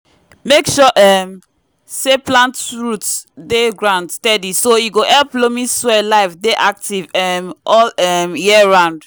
make sure um say plant root dey ground steady so e go help loamy soil life dey active um all um year round.